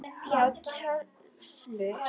Já, töflur.